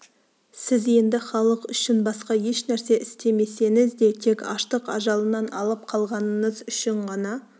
сіз енді халық үшін басқа еш нәрсе істемесеңіз де тек аштық ажалынан алып қалғаныңыз үшін ғана